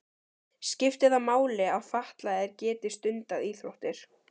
Skiptir það máli að fatlaðir geti stundað íþróttir?